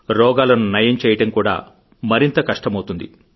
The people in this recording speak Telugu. రోగాలను నయం చేయడం కూడా మరింత కష్టమవుతుంది